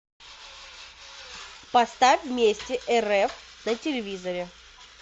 поставь вместе рф на телевизоре